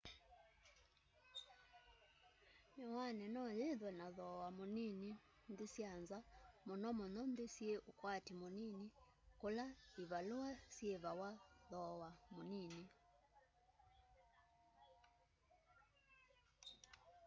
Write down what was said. miwani no yithwe na thoowa munini nthi sya nza munomuno nthi syi ukwati munini kula ivalua syievawa thowa munini